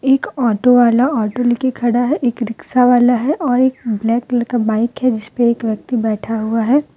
एक ऑटो वाला ऑटो लेकर खड़ा है एक रिक्शावाला है और एक ब्लैक कलर का बाइक है जिस पे एक व्यक्ति बैठा हुआ है।